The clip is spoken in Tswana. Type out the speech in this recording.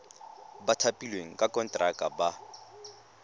ba thapilweng ka konteraka ba